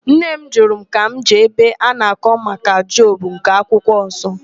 Nne m jụrụ ka m jee ebe a na-akọ maka Job nke akwụkwo nsọ.